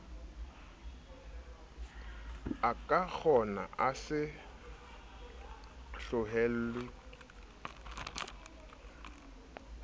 ekakgona a se tlohellwe a